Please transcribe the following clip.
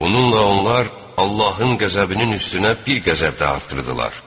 Bununla onlar Allahın qəzəbinin üstünə bir qəzəb də artırdılar.